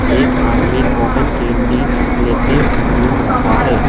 एक आदमी cotton candy लेते घूम रहा हैं।